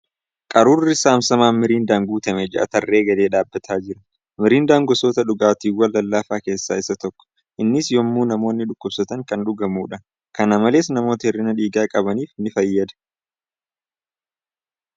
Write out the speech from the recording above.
Qaruurri saamsamaan miriindaaan guutame ja'a tarree galee dhaabbatee jira . Miiriindaan gosoota dhugaatiiwwqn lallaafaaa keessa isa tokko. Innis yemmuu namoonni dhukkubsatan kan dhugamuudha . Kana malees, namoota hir'ina dhiigaa qabaniif ni fayyada.